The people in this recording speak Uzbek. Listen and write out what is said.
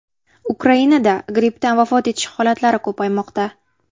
Ukrainada grippdan vafot etish holatlari ko‘paymoqda.